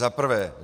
Za prvé.